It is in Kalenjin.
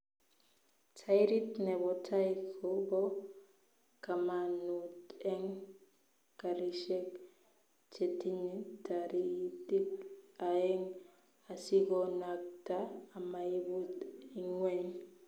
Tairit nebo tai ko bo kamanuut eng karishek chetinye tatairik aeng asikonakta amaibut ingweny